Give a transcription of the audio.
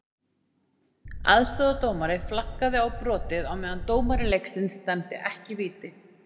Aðstoðardómari flaggaði á brotið, á meðan dómari leiksins dæmdi ekki víti.